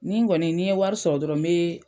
Ni n kɔni , ni n ye wari sɔrɔ dɔrɔn n be